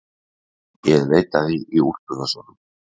Ég leitaði í úlpuvösunum.